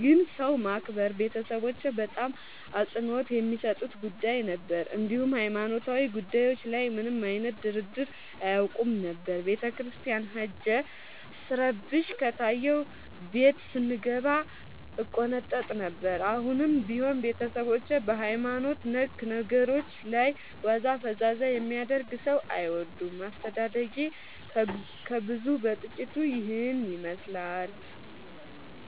ግን ሰው ማክበር ቤተሠቦቼ በጣም አፅንኦት የሚሠጡት ጉዳይ ነበር። እንዲሁም ሀይማኖታዊ ጉዳዮች ላይ ምንም አይነት ድርድር አያውቁም ነበር። ቤተክርስቲያን ሄጄ ስረብሽ ከታየሁ ቤት ስንገባ እቆነጠጥ ነበር። አሁንም ቢሆን ቤተሠቦቼ በሀይማኖት ነክ ነገሮች ላይ ዋዛ ፈዛዛ የሚያደርግ ሠው አይወዱም። አስተዳደጌ ከብዙው በጥቂቱ ይህን ይመሥላል።